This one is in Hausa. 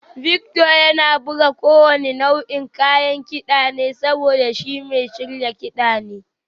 Victor yana buga kowane nau'in kayan kida ne saboda shi mai shirya kiɗa ne